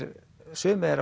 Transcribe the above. sumir þeirra